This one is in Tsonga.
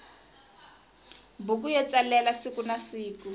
buku yo tsalela sikunasiku